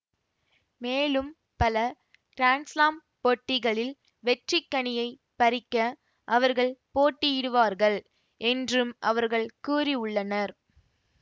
மேலும் பல கிராண்ட்ஸ்லாம் போட்டிகளில் வெற்றிக்கனியைப் பறிக்க அவர்கள் போட்டியிடுவார்கள் என்றும் அவர்கள் கூறிவுள்ளனர்